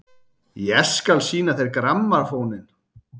Ég skal sýna þér grammófóninn!